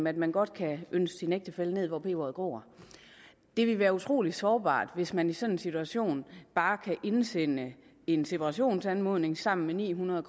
at man godt kan ønske sin ægtefælle hen hvor peberet gror det vil være utrolig sårbart hvis man i sådan en situation bare kan indsende en separationsanmodning sammen med ni hundrede